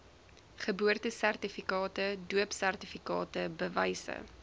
geboortesertifikate doopsertifikate bewyse